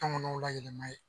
Tɔngɔnɔw layɛlɛma ye.